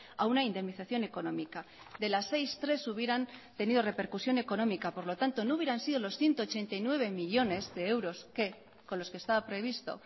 a una indemnización económica de las seis tres hubieran tenido repercusión económica por lo tanto no hubieran sido los ciento ochenta y nueve millónes de euros que con los que estaba previsto